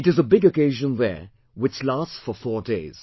It is a big occasion there which lasts for four days